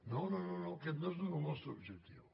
no no aquest no és el nostre objectiu